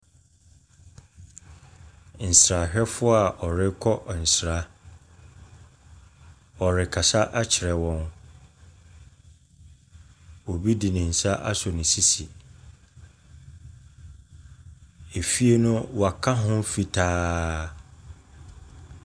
Nsrahwɛfoɔ a warekɔ nsra. Wɔrekasa kyerɛ wɔn. Obi de ne nsa asɔ ne sisi. Efie no wɔaka ho fitaa.